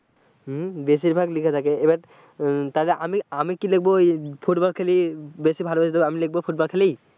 হম বেশিরভাগ লেখা থাকে এবার তাহলে আমি, আমি কি লিখব ওই ফুটবল খেলি বেশি ভালোবাসি তো আমি লিখবো ফুটবল খেলি।